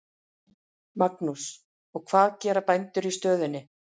Magnús: Og hvað gera bændur í stöðunni?